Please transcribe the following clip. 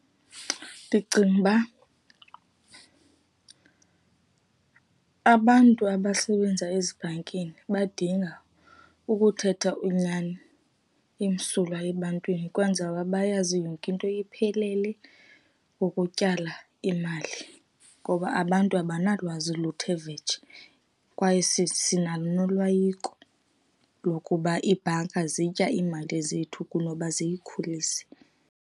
Ndicinga uba , abantu abasebenza ezibhankini badinga ukuthetha inyani emsulwa ebantwini, kwenzela bayazi yonke into iphelele ukutyala imali, ngoba abantu abanalwazi oluthe vetshe, kwaye sinalo noloyiko lokuba iibhanka zitya iimali zethu kunoba ziyikhulise.